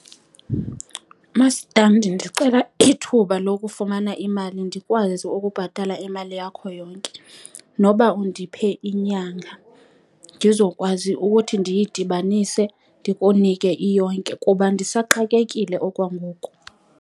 Masitandi, ndicela ithuba lokufumana imali ndikwazi ukubhatala imali yakho yonke. Noba undiphe inyanga ndizokwazi ukuthi ndiyidibanise ndikunike iyonke, kuba ndisaxakekile okwangoku.